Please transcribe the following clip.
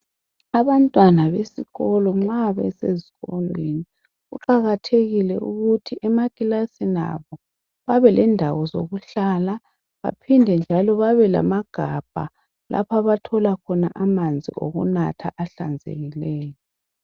Abantwana besikolo nxa besezifundweni kuqakathekile ukuthi emakilasini abo babelendawo zokuhlala baphinde njalo babelamagabha lapha abathola khona amanzi okunatha ahlanzekileyo.